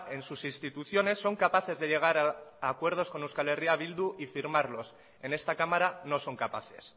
en sus instituciones son capaces de llegar a acuerdos con eh bildu y firmarlos en esta cámara no son capaces